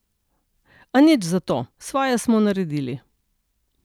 A nič zato, svoje smo naredili.